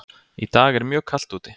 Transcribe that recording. Í dag er mjög kalt úti.